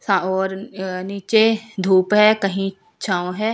हां और अ नीचे धूप है कहीं छांव है।